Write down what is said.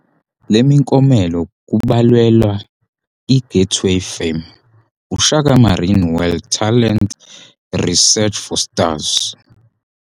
Lemikomelo kubalelwa I Gateway Fame, uShaka Marine World Talent Search for Stars.